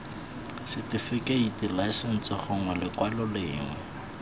setifikeiting laesense gongwe lekwalo lengwe